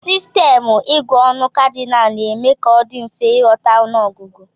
Sistemụ ịgụ ọnụ Kadịnal na-eme ka ọ dị mfe ịghọta ọnụọgụgụ.